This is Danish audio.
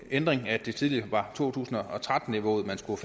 ændring at det tidligere var to tusind og tretten niveauet man skulle